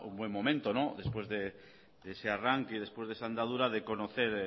buen momento después de ese arranque y después de esa andadura de conocer